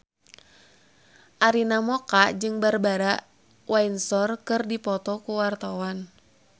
Arina Mocca jeung Barbara Windsor keur dipoto ku wartawan